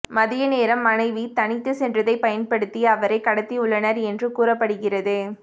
மதிய நேரம் மாணவி தனித்துச் சென்றதைப் பயன்படுத்தி அவரைக் கடத்தியுள்ளனர் என்று கூறப்படுகிறது